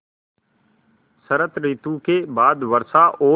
शरत ॠतु के बाद वर्षा और